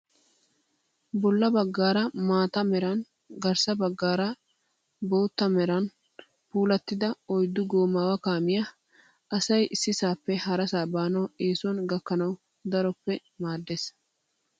Bolla baggaara maata meran garssa baggaara bootta meran puulattida oyiddu goomaawa kaamiyaa. Asayi issisaappe harasa baanau eesuwan gakkanawu daroppe maaddes.